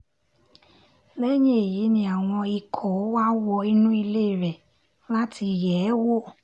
lẹ́yìn èyí ni àwọn ikọ̀ wá wọ inú ilé rẹ̀ láti yẹ̀ ẹ́ wò